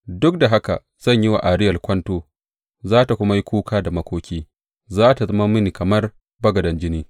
Duk da haka zan yi wa Ariyel kwanto za tă kuma yi kuka da makoki, za tă zama mini kamar bagaden jini.